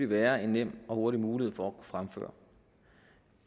være en nem og hurtig mulighed for at fremføre